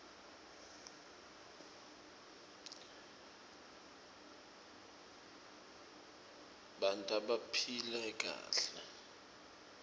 tbanta baphile kahle